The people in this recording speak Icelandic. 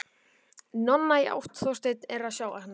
Nonna, í átt að Þorsteini, en þeir sjá hana ekki.